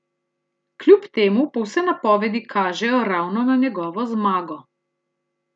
Kljub temu pa vse napovedi kažejo ravno na njegovo zmago.